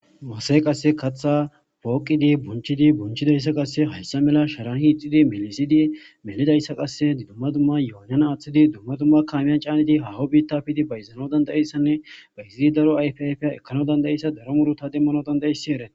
mase qasse katha pooqidi bunchidi bunchidayssa qasse hayssa mela sharan hiixidi melisidi melidayssa qasse dumma dumma yoonana aaththidi dumma dumma kaamiyan caanidi hawo biitafidi bayzano dandayissanne bayzidi daro ayf ayfya ekkano dandayissa daro muru ta demmano dandayisi ere